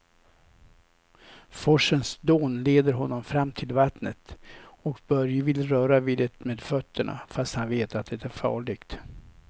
Forsens dån leder honom fram till vattnet och Börje vill röra vid det med fötterna, fast han vet att det är farligt.